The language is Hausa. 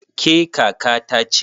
Ke kaka ta ce?